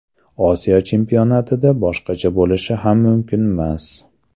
Osiyo chempionatida boshqacha bo‘lishi ham mumkinmas.